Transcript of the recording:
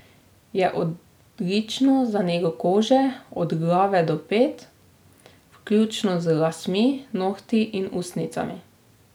Je odlično za nego kože od glave do pet, vključno z lasmi, nohti in ustnicami.